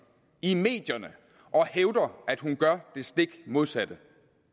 i medierne at hun gør det stik modsatte